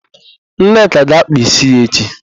Nneka ga-ákpà ísí ya echi.